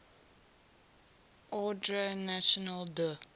ordre national du